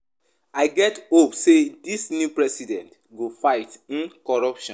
I get hope sey dis new president go fight um corruption.